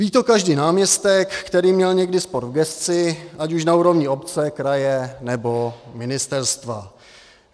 Ví to každý náměstek, který měl někdy sport v gesci ať už na úrovni obce, kraje, nebo ministerstva.